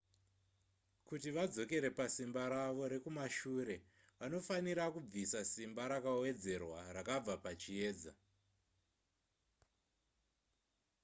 kuti vadzokere pasimba ravo rekumashure vanofanira kubvisa simba rakawedzerwa rakabva pachiedza